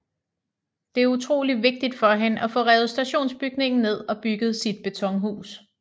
Det er utroligt vigtigt for hende at få revet stationsbygningen ned og bygget sit betonhus